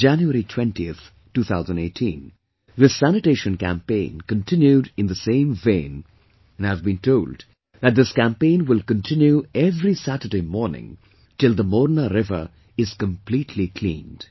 On January 20 th , 2018, this Sanitation Campaign continued in the same vein and I've been told that this campaign will continue every Saturday morning till the Morna river is completely cleaned